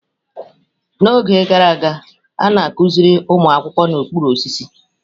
N'oge gara aga, a na-akụziri ụmụ akwụkwọ n'okpuru osisi.